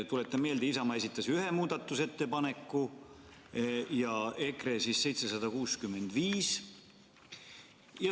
Tuletan meelde, et Isamaa esitas ühe muudatusettepaneku ja EKRE 765.